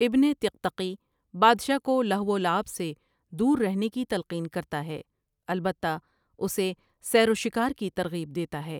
ابن طقطقی بادشاہ کو لہو ولعب سے دور رہنے کی تلقین کرتا ہے البتہ اسے سیر و شکار کی ترغیب دیتا ہے ۔